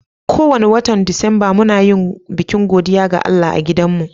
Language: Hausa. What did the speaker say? Ko wani watan Disamba, muna yin bikin godiya ga Allah a adan mu.